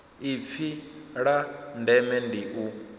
ipfi la ndeme ndi u